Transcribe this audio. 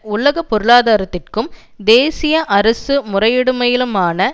உலக பொருளாதாரத்திற்கும் தேசிய அரசு முறையிடுமயிலுமான